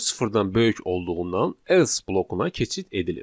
Dörd sıfırdan böyük olduğundan else blokuna keçid edilir.